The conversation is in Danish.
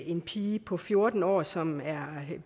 en pige på fjorten år som